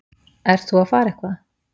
Ert þú að fara eitthvað?